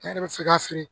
Ne yɛrɛ bɛ se ka feere